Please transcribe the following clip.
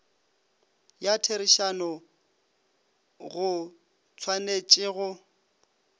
ya therišano go tshwanetše go